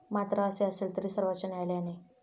मात्र असे असेल तरी सर्वोच्च न्यायालयाने.